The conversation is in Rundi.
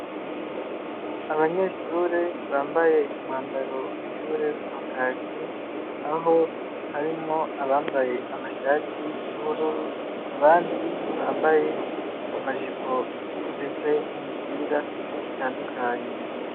Abanyeshure bambaye umwambaro w'ishure wa kaki, aho harimwo abambaye amashati y'ubururu, abandi bambaye amajipo ndetse n'imipira itandukanye.